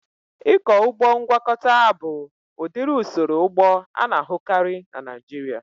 Ịkọ ụgbọ ngwakọta abụ udiri usoro ụgbọ ana-ahukari na Naijiria?